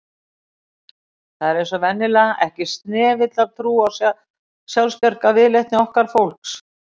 Það er eins og venjulega, ekki snefill af trú á sjálfsbjargarviðleitni okkar fólks